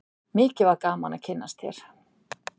Mikið var gaman að kynnast þér.